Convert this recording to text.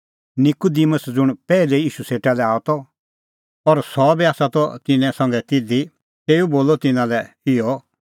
निकूदिमुस ज़ुंण पैहलै ईशू सेटा लै आअ त और सह बी आसा त तिन्नां संघै तिधी तेऊ बोलअ तिन्नां लै इहअ